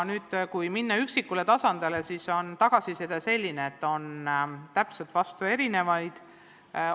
Kui minna üksikule tasandile, siis on tagasisidena antud täpselt vastupidiseid seisukohti.